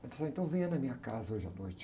Ele disse, ah, então venha na minha casa hoje à noite.